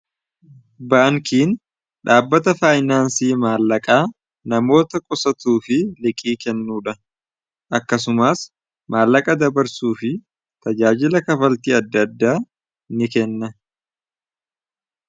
baankiin dhaabbata faayinaansii maallaqaa namoota qusatuu fi liqii kennuudha akkasumaas maallaqa dabarsuu fi tajaajila kafaltii adda adda ni kenna